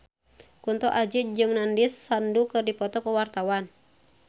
Kunto Aji jeung Nandish Sandhu keur dipoto ku wartawan